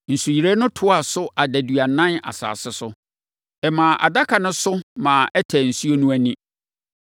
Nsuyire no toaa so adaduanan asase so. Ɛmaa Adaka no so ma ɛtɛɛ nsuo no ani.